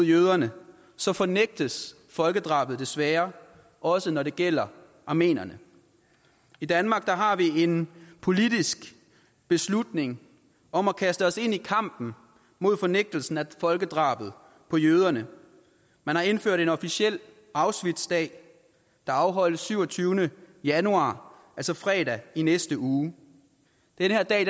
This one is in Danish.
jøderne så fornægtes folkedrabet desværre også når det gælder armenierne i danmark har vi en politisk beslutning om at kaste os ind i kampen mod fornægtelsen af folkedrabet på jøderne man har indført en officiel auschwitzdag der afholdes den syvogtyvende januar altså fredag i næste uge denne dag